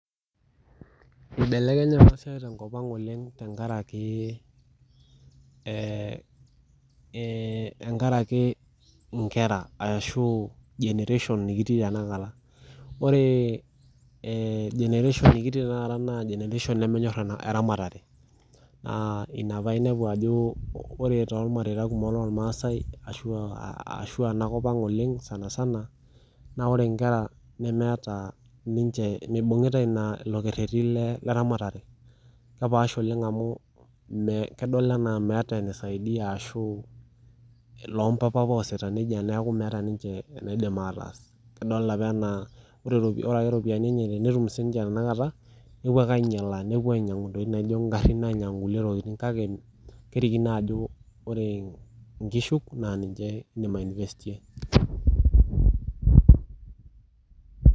Eibelekenye ena siai oleng tenkop ang tenkaraki enkera ashu tenkaraki generation nikitii amu generation nemenyor eramatare naa ena pee enepu Ajo ore to mareita loo irmaasai ashu Tena kop eng sanisana ore enkera mibungita elo kereti leramatare kedol enaa nisaidia kelo eloo mpapa apa ositaa ena ore eropiani enye tenetum tanakata nepuo ainyiala ainyiang'u entokitin naijio garin kake kerikino Ajo ore enkishu naa ninche edim i enivestie